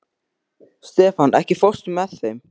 Stefan, ekki fórstu með þeim?